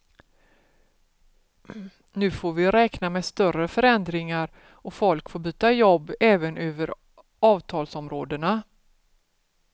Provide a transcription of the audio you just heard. Nu får vi räkna med större förändringar och folk får byta jobb även över avtalsområdena.